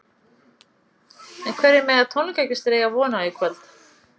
En hverju mega tónleikagestir eiga von á í kvöld?